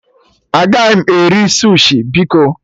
Agaghị m eri sushi biko